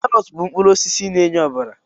Karọt bụ mkpụrụ osisi na-enye ọbara